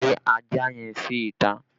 Lé ajá yẹn sí ìta!